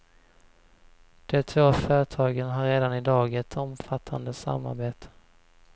De två företagen har redan i dag ett omfattande samarbete.